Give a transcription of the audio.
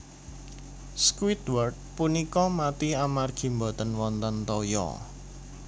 Squidward punika mati amargi boten wonten toya